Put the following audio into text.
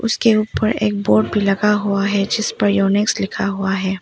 उसके ऊपर एक बोर्ड भी लगा हुआ है जिसपर योनेक्स लिखा हुआ है।